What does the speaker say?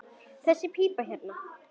Þessi pípa hérna.